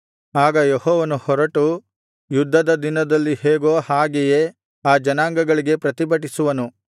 ಆಗ ಯೆಹೋವನು ಹೊರಟು ಯುದ್ಧದ ದಿನದಲ್ಲಿ ಹೇಗೋ ಹಾಗೆಯೇ ಆ ಜನಾಂಗಗಳಿಗೆ ಪ್ರತಿಭಟಿಸುವನು